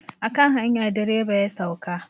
A kan hanya direba ya sauka.